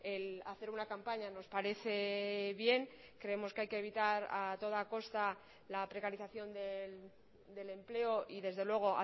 el hacer una campaña nos parece bien creemos que hay que evitar a toda costa la precarización del empleo y desde luego